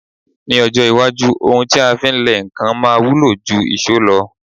Ní ọjọ́ iwájú, ohun ti a fí ń lẹ nǹkan máa wúlò jú ìṣó lọ.